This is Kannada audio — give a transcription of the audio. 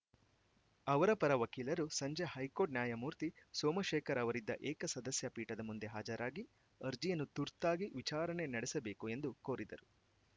ಅವರ ಪರ ವಕೀಲರು ಸಂಜೆ ಹೈಕೋರ್ಟ್‌ ನ್ಯಾಯಮೂರ್ತಿ ಸೋಮಶೇಖರ್‌ ಅವರಿದ್ದ ಏಕಸದಸ್ಯಪೀಠದ ಮುಂದೆ ಹಾಜರಾಗಿ ಅರ್ಜಿಯನ್ನು ತುರ್ತಾಗಿ ವಿಚಾರಣೆ ನಡೆಸಬೇಕು ಎಂದು ಕೋರಿದರು